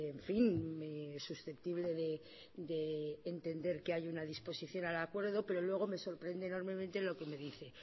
en fin susceptible de entender que hay una disposición al acuerdo pero luego me sorprende enormemente lo que me dice